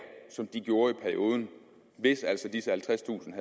som de gjorde i perioden hvis altså disse halvtredstusind